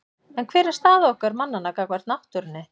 En hver er staða okkar mannanna gagnvart náttúrunni?